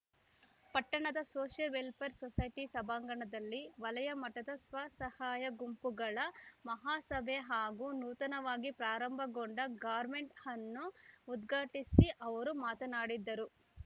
ಪಟ್ಟಣದ social welfare society ಸಭಾಂಗಣದಲ್ಲಿ ವಲಯ ಮಟ್ಟದ ಸ್ವಸಹಾಯ ಗುಂಪುಗಳ ಮಹಾ ಸಭೆ ಹಾಗೂ ನೂತನವಾಗಿ ಪ್ರಾರಂಭಗೊಂಡ ಗಾರ್ಮೆಂಟ್‌ ಅನ್ನು ಉದ್ಘಾಟಿಸಿ ಅವರು ಮಾತನಾಡಿದರು